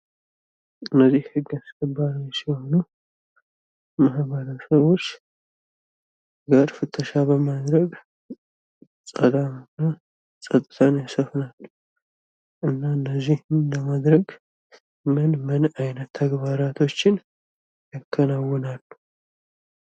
እነዚህ ህግ አስከባሪዎች ሲሆኑ፤ ማህበረሰቦች ፍተሻ በማድረግ ሰላምንና ጸጥታን ያሰፍናሉ። እና እንደዚህ ለማድረግ ምን ምን አይነት ተግባራቶችን ያከናውናሉ?